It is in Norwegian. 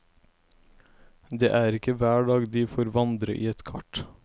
Det er ikke hver dag de får vandre i et kart.